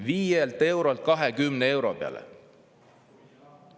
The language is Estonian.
Viielt eurolt 20 euro peale.